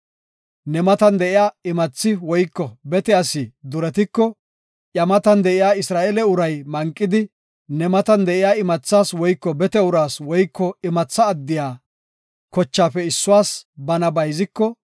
Ne matan de7iya imathi woyko bete asi duretiko, iya matan de7iya Isra7eele uray manqidi, ne matan de7iya imathas woyko bete uraas woyko imatha addiya kochaafe issuwas bana bayziko,